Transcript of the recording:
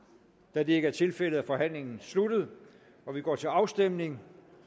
da det ikke er tilfældet er forhandlingen sluttet og vi går til afstemning